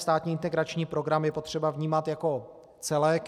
Státní integrační program je potřeba vnímat jako celek.